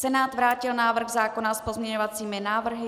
Senát vrátil návrh zákona s pozměňovacími návrhy.